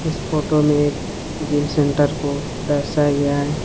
इस फोटो में एक जिम सेंटर को दर्शाया गया है।